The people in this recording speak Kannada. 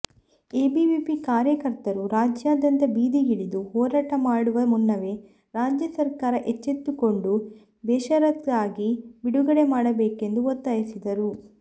ಎಬಿವಿಪಿ ಕಾರ್ಯಕರ್ತರು ರಾಜ್ಯಾದಾಂತ್ಯ ಬೀದಿಗಿಳಿದು ಹೋರಾಟ ಮಾಡುವ ಮುನ್ನವೇ ರಾಜ್ಯ ಸರ್ಕಾರ ಎಚ್ಚೆತ್ತುಕೊಂಡು ಬೇಶರತ್ತಾಗಿ ಬಿಡುಗಡೆ ಮಾಡಬೇಕೆಂದು ಒತ್ತಾಯಿಸಿದರು